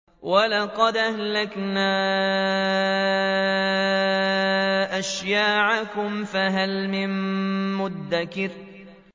وَلَقَدْ أَهْلَكْنَا أَشْيَاعَكُمْ فَهَلْ مِن مُّدَّكِرٍ